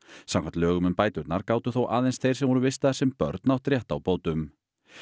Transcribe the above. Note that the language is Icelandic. samkvæmt lögum um bæturnar gátu þó aðeins þeir sem voru vistaðir sem börn átt rétt á bótum